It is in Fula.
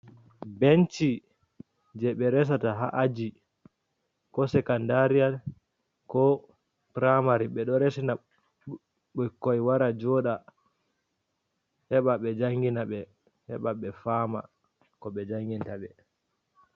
Benci je ɓe resata haa aji, ko sekandariyal, ko praymari. Ɓe ɗo resina ɓikkoi wara joɗa, heɓa ɓe jangina ɓe, heɓa ɓe faama ko ɓe janginta ɓe.